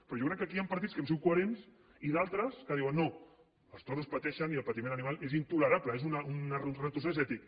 però jo crec que aquí hi han partits que hem sigut coherents i d’altres que diuen no els toros pateixen i el patiment animal és intolerable és un retrocés ètic